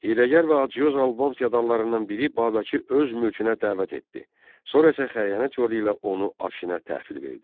Yedəgər və Adcyoz Alban feodallarından biri Babəki öz mülkünə dəvət etdi, sonra isə xəyanət yolu ilə onu Afşinə təhvil verdi.